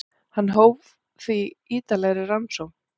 Hann hóf því ítarlegri rannsókn.